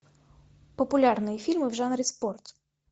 популярные фильмы в жанре спорт